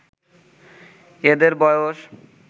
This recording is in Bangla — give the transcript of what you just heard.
এদের বয়স